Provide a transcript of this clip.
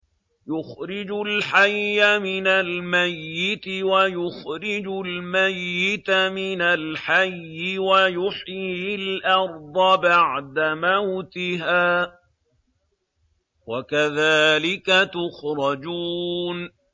يُخْرِجُ الْحَيَّ مِنَ الْمَيِّتِ وَيُخْرِجُ الْمَيِّتَ مِنَ الْحَيِّ وَيُحْيِي الْأَرْضَ بَعْدَ مَوْتِهَا ۚ وَكَذَٰلِكَ تُخْرَجُونَ